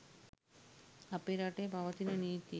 අපේ රටේ පවතින නීති